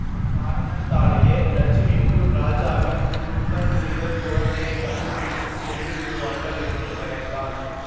அக்காரணத்தாலேயே ரஜினிபூர் ராஜாவின் துர்மந்திரிகள் குழந்தையை கண்டுபிடித்துக் கொன்றுவிடுவார்கள் என்று பயந்தாள்